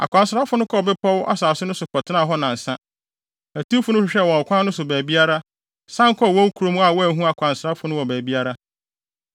Akwansrafo no kɔɔ bepɔw asase no so kɔtenaa hɔ nnansa. Atiwfo no hwehwɛɛ ɔkwan no so baabiara, san kɔɔ wɔn kurom a wɔanhu akwansrafo no wɔ baabiara.